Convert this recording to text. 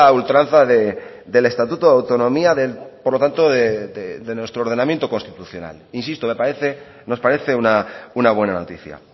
ultranza del estatuto de autonomía por lo tanto de nuestro ordenamiento constitucional insisto me parece nos parece una buena noticia